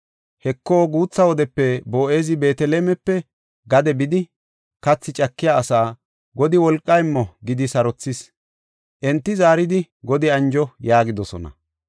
Heko, guutha wodepe Boo7ezi Beetelemepe gade bidi, kathi cakiya asaa, “Godi wolqa immo” gidi sarothis. Enti zaaridi, “Godi anjo” yaagidosona.